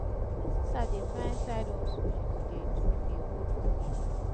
my sister dey find side hustle she go dey do dey hold body